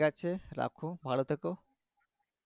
ঠিক আছে রোখো ভালো থেকো